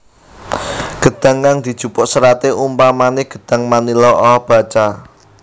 Gedhang kang dijupuk seraté umpamané gedhang manila abaca